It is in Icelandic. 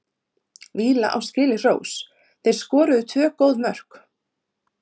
Villa á skilið hrós, þeir skoruðu tvö góð mörk.